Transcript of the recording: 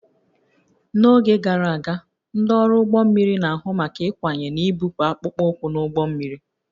N'oge gara aga, ndị ọrụ ụgbọ mmiri na-ahụ maka ịkwanye na ibupụ akpụkpọ ụkwụ n'ụgbọ mmiri